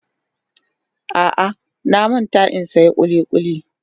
A'a, na manta in siyan kulikuli.